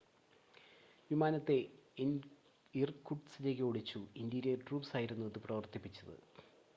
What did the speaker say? വിമാനത്തെ ഇർകുട്സ്കിലേക്ക് ഓടിച്ചു interior troops ആയിരുന്നു അത് പ്രവർത്തിപ്പിച്ചത്